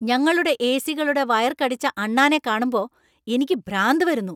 ഞങ്ങളുടെ എ.സി.യുടെ വയർ കടിച്ച അണ്ണാനെ കാണുമ്പോ എനിക്ക് ഭ്രാന്ത് വരുന്നു.